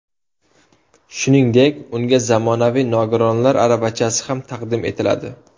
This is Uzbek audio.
Shuningdek, unga zamonaviy nogironlar aravachasi ham taqdim etiladi.